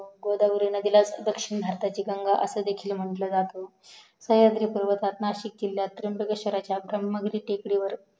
व गोदावरी नदीला दक्षिण भारताची गंगा असं सुद्धा म्हंटलं जातं सहयद्रि पर्वताना नाशिक जिल्यात त्रांबकेश्वरच्या ब्रह्मा विधी टेकडीवर